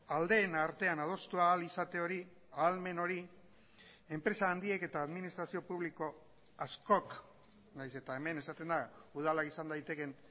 aldeen artean adostu ahal izate hori ahalmen hori enpresa handiek eta administrazio publiko askok nahiz eta hemen esaten da udala izan daitekeen